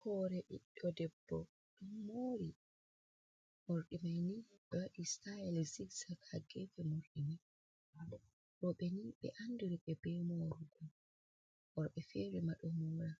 Hoore ɓiɗɗo debbo ɗo moori, morɗi man ni ɓe waɗi "sitayel zixza ha geefe morɗi man. Rowɓe nii ɓe ɗo anndiri ɓe bee moorugo, worɓe feere ma ɗo moora.